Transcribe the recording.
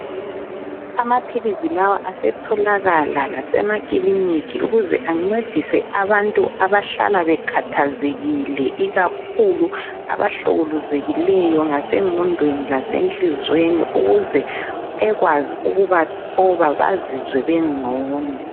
Amaphilizi lawa asetholakala lasemakilinika ukuze ancedise abantu abahlala bekhathazekile ikakhulu abahlukuluzekileyo ngasengqondweni lasenhlizweni ukuze ekwazi ukubathoba bazizwe bengcono.